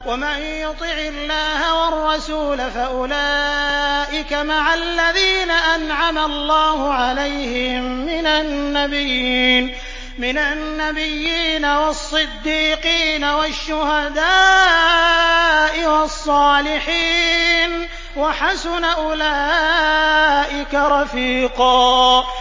وَمَن يُطِعِ اللَّهَ وَالرَّسُولَ فَأُولَٰئِكَ مَعَ الَّذِينَ أَنْعَمَ اللَّهُ عَلَيْهِم مِّنَ النَّبِيِّينَ وَالصِّدِّيقِينَ وَالشُّهَدَاءِ وَالصَّالِحِينَ ۚ وَحَسُنَ أُولَٰئِكَ رَفِيقًا